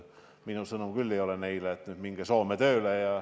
Minu sõnum küll ei ole neile, et minge nüüd Soome tööle.